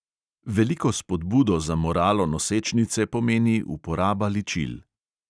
Veliko spodbudo za moralo nosečnice pomeni uporaba ličil.